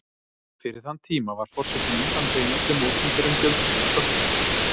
Fyrir þann tíma var forsetinn undanþeginn öllum opinberum gjöldum og sköttum.